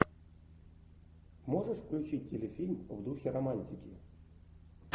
можешь включить телефильм в духе романтики